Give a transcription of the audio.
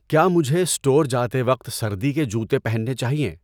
کیا مجھے سٹور جاتے وقت سردی کے جوتے پہننے چاہیے